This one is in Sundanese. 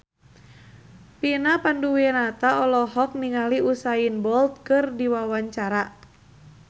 Vina Panduwinata olohok ningali Usain Bolt keur diwawancara